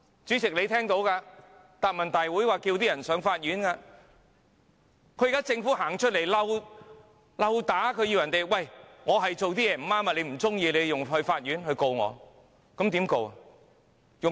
主席，你也聽到，她在答問會上叫人們上法院，現在是政府走出來挑釁，說："我是做得不對，你若不喜歡的話，便向法院控告我吧。